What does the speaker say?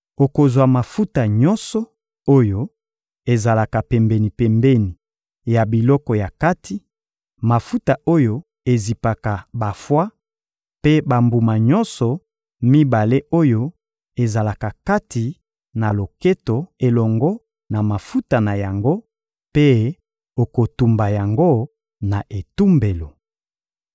Okozwa mafuta nyonso oyo ezalaka pembeni-pembeni ya biloko ya kati, mafuta oyo ezipaka bafwa mpe bambuma nyonso mibale oyo ezalaka kati na loketo elongo na mafuta na yango; mpe okotumba yango na etumbelo.